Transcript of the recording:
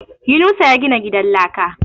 Yunusa ya gina gidan laka